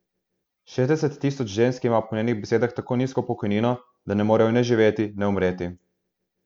Šestdeset tisoč žensk ima po njenih besedah tako nizko pokojnino, da ne morejo ne živeti ne umreti.